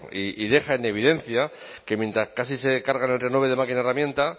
y deja en evidencia que mientras casi se cargan el renove de máquina herramienta